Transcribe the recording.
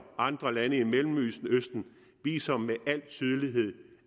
andre lande i mellemøsten viser med al tydelighed